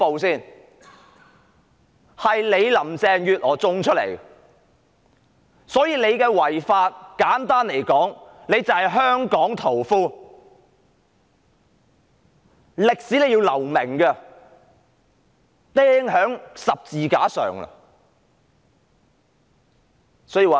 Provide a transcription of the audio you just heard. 這是林鄭月娥一手造成的，所以她的違法行為，簡單來說，她就是"香港屠夫"，在歷史上要留名，會被釘在十字架上。